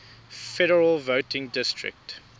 federal voting district